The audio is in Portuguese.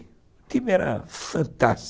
O time era fantás